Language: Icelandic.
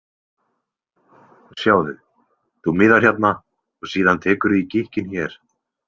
Sjáðu, þú miðar hérna og síðan tekurðu í gikkinn hér.